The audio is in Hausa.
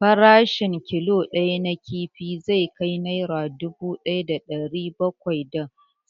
Farashin killo ɗaya na kifi zai kai nera dubu ɗaya da ɗari bakwai da